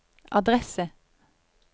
adresse